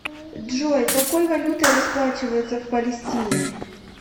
джой какой валютой расплачиваются в палестине